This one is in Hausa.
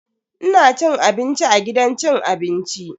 Ina cin abinci a gidan cin abinci.